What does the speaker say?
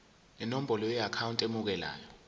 nenombolo yeakhawunti emukelayo